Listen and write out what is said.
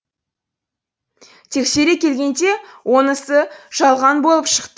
тексере келгенде онысы жалған болып